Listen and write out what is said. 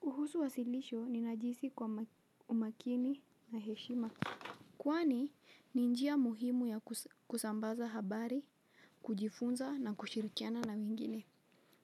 Kuhusu wasilisho ninajihisi kwa umakini na heshima. Kwani ni njia muhimu ya kusambaza habari, kujifunza na kushirikiana na wengine.